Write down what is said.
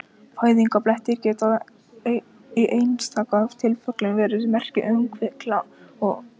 Fæðingarblettir geta í einstaka tilfellum verið merki um kvilla eða sjúkdóma.